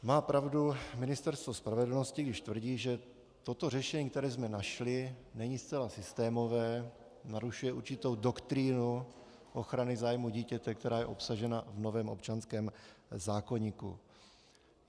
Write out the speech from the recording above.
Má pravdu Ministerstvo spravedlnosti, když tvrdí, že toto řešení, které jsme našli, není zcela systémové, narušuje určitou doktrínu ochrany zájmu dítěte, která je obsažena v novém občanském zákoníku.